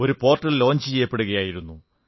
ഒരുപോർട്ടൽ launch ചെയ്യപ്പെടുകയായിരുന്നു